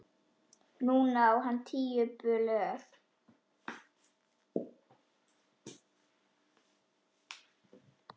Núna á hann tíu blöð.